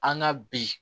An ka bi